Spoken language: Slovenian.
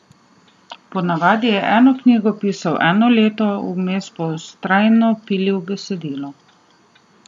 Po navadi je eno knjigo pisal eno leto, vmes pa vztrajno pilil besedilo.